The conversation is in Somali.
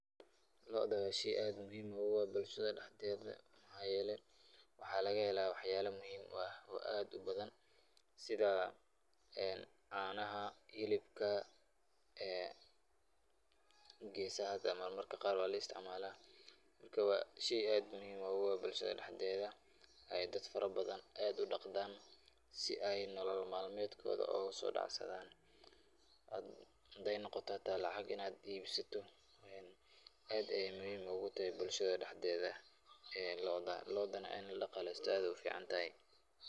Looda waa sheey aad muhiim ugu ah bulshada dexdeeda, mxaa yeele waxaa laga helaa wax yaaba aad muhiim u ah oo aad ubadan sida caanaha, hilibka, geesaha marmarka qaar waa laisticmaala, marka waa sheey aad muhiim ugu ah bulshada dexdeeda, eey dad fara badan aad udaqdaan, si aay nolol malmeedkooda ooga soo dacsadaan, hadaay noqota xitaa lacag inaad iibsato, aad ayeey muhiim oogu tahay bulshada dexdeeda looda, loodana in ladaqaalesto aad ayeey ufican tahay.